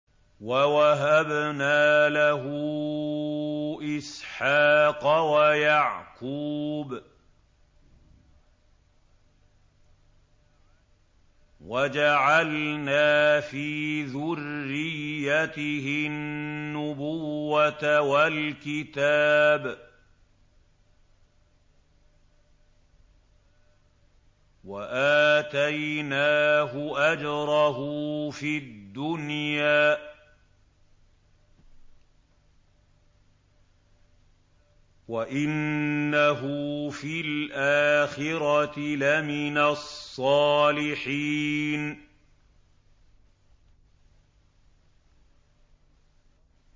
وَوَهَبْنَا لَهُ إِسْحَاقَ وَيَعْقُوبَ وَجَعَلْنَا فِي ذُرِّيَّتِهِ النُّبُوَّةَ وَالْكِتَابَ وَآتَيْنَاهُ أَجْرَهُ فِي الدُّنْيَا ۖ وَإِنَّهُ فِي الْآخِرَةِ لَمِنَ الصَّالِحِينَ